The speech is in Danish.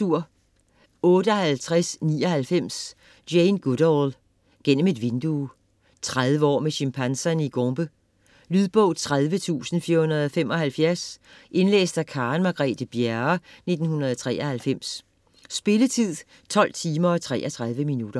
58.99 Goodall, Jane: Gennem et vindue 30 år med chimpanserne i Gombe. Lydbog 30475 Indlæst af Karen Margrethe Bjerre, 1993. Spilletid: 12 timer, 33 minutter.